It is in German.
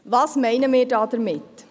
Was meinen wir damit: